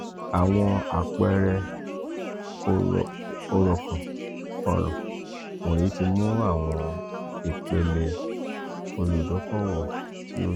awọn apeere oran wọnyi ti mu awọn ipele oludokoowo ti o le ju.